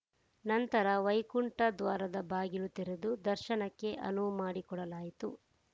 ನಂತರ ವೈಕುಂಠ ದ್ವಾರದ ಬಾಗಿಲು ತೆರೆದು ದರ್ಶನಕ್ಕೆ ಅನುವು ಮಾಡಿಕೊಡಲಾಯಿತು